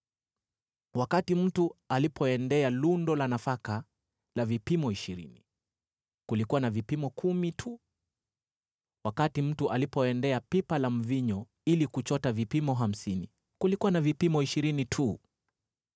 Wakati mtu alipoendea lundo la nafaka la vipimo ishirini, kulikuwa na vipimo kumi tu. Wakati mtu alipoendea pipa la mvinyo ili kuchota vipimo hamsini, kulikuwa na vipimo ishirini tu.